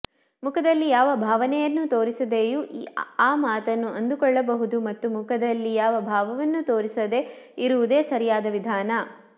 ಮುಖದಲ್ಲಿ ಯಾವ ಭಾವನೆಯನ್ನೂ ತೋರಿಸದೆಯೂ ಆ ಮಾತನ್ನು ಅಂದುಕೊಳ್ಳಬಹುದು ಮತ್ತು ಮುಖದಲ್ಲಿ ಯಾವ ಭಾವವನ್ನು ತೋರಿಸದೇ ಇರುವುದೇ ಸರಿಯಾದ ವಿಧಾನ